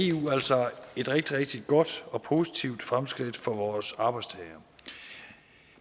eu altså et rigtig rigtig godt og positivt fremskridt for vores arbejdstagere